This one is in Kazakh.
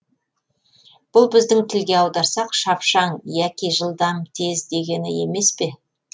бұл біздің тілге аударсақ шапшаң яки жылдам тез дегені емес пе